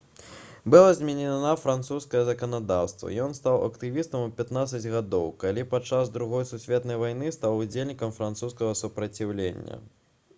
было зменена французскае заканадаўства ён стаў актывістам у 15 гадоў калі падчас другой сусветнай вайны стаў удзельнікам французскага супраціўлення